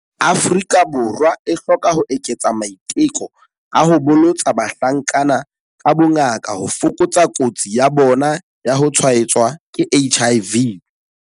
Afrika Borwa e hloka ho eketsa maiteko a ho bolotsa bahlankana ka bongaka ho fokotsa kotsi ya bona ya ho tshwaetswa ke HIV.